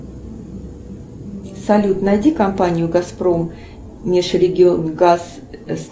салют найди компанию газпром межрегионгаз